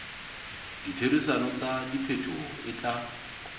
ditherisano tsa diphetoho e tla